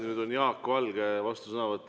Nüüd on Jaak Valge vastusõnavõtt.